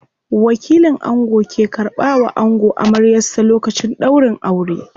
Wakilin ango ke karɓa wa ango amaryar sa lokacin ɗaurin aure.